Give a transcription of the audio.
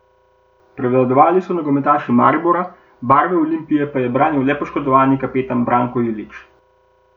Prevladovali so nogometaši Maribora, barve Olimpije pa je branil le poškodovani kapetan Branko Ilić.